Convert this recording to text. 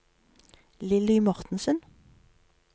Lilly Mortensen